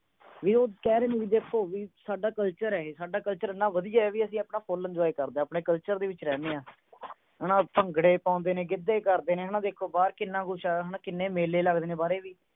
ਵੀ ਊ ਕਹਿ ਰਹੇ ਨੇ ਦੇਖੋ ਵੀ ਸਾਡਾ culture ਹੈ ਇਹ ਸਾਡਾ culture ਇਨ੍ਹਾਂ ਵਧੀਆ ਹੈ ਵੀ ਆਪਾਂ ਆਪਣਾ full enjoy ਕਰਦੇ ਹਾਂ ਆਪਣੇ culture ਦੇ ਵਿਚ ਰਹਿਨੇ ਆਂ ਹੇਨਾ ਅੰਕੜੇ ਪਾਉਂਦੇ ਨੇ ਗਿੱਧੇ ਕਰਦੇ ਨੇ ਹੈ ਵੇਖੋ ਬਾਹਰ ਕਿੰਨਾ ਕੁਝ ਹੈ ਨਾ ਬਾਹਰ ਕਿੰਨੇ ਮੇਲੇ ਲੱਗਦੇ ਨੇ ਬਾਰੇ ਵੀ